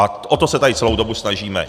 A o to se tady celou dobu snažíme.